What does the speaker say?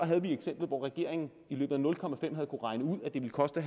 havde vi eksemplet hvor regeringen i løbet af nul komma fem havde kunnet regne ud at det ville koste